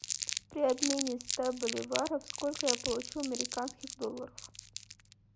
при обмене ста боливаров сколько я получу американских долларов